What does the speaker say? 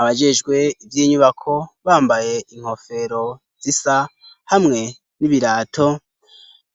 Abajejwe ivyinyubako bambaye inkofero zisa hamwe n'ibirato